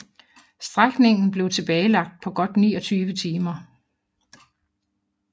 Strækningen blev tilbagelagt på godt 29 timer